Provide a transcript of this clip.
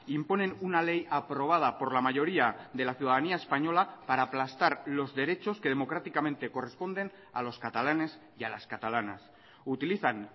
imponen una ley aprobada por la mayoría de la ciudadanía española para aplastar los derechos que democráticamente corresponden a los catalanes y a las catalanas utilizan